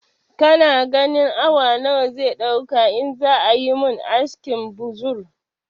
Kana ganin awa nawa zai ɗauka in za ayi mun askin buzur